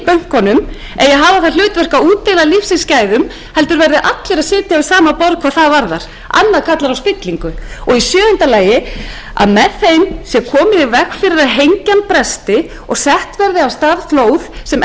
það hlutverk að útdeila lífsins gæðum heldur verða allir að sitja við sama borð hvað það varðar annað kallar á spillingu í sjöunda lagi má með tillögunum koma í veg fyrir að hengjan bresti og sett verði af stað flóð sem